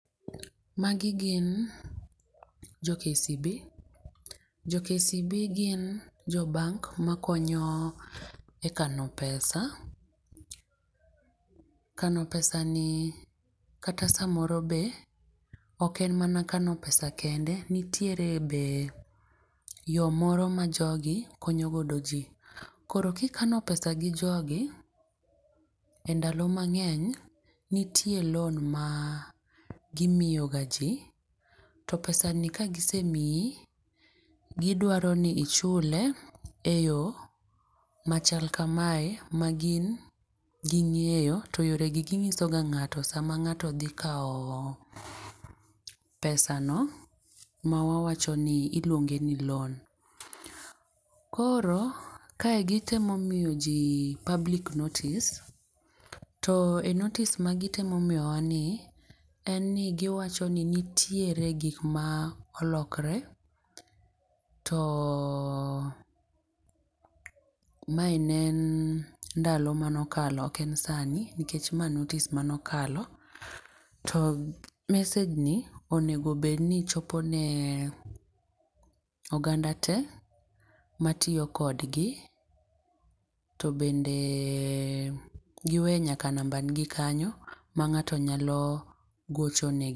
Ma gi gin jo kcb, jo kcb gin jo bank ma konyo e kano pesa. Kano pesa ni kata saa moro be ok en mana kano pesa kende, nitie be yo moro ma jo gio konyo godo ji. Koro ki ikano pesa gi jo gi e ndalo mang'eny nitie loan ma gi miyo ga ji to pesa ni ka gisemiyi gi dwaro ni ichule e yo machal ka mae ma gin gi ng'eyo to yore gi gi ng'iso ga ng'ato sama ngato dhi kao pesa ma wawacho ni iluonge ni loan .Koro ka gi temo miyo ji public notice, to e notice ma gi temo miyo wa ni en ni gi wacho ni nitiere gik ma olokre to ma en en ndalo ma ne okalo ok ma sani nikech mae en notice ma ne okalo to message ni onego bed ni chope ne oganda te ma tiyo kod gi to bende gi we nyaka namba gi ni kanyo ma ng'ato nyalo gocho ne gi.